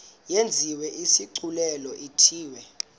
yenziwe isigculelo ithiwe